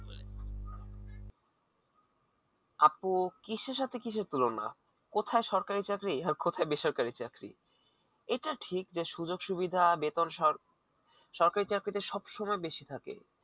আপু কিসে সাথে কি সেট তুলনা কোথায় সরকারি চাকরি আর কোথায় বেসরকারি চাকরি এটা ঠিক যে সুযোগ সুবিধা বেতন সর সরকারি চাকরিতে সব সময় বেশি থাকে